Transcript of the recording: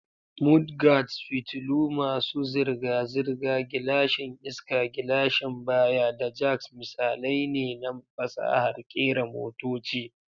Mudguards, fitilu masu zirga-zirga, gilashin iska, gilashin baya, da jacks misalai ne na fasahar kera motoci.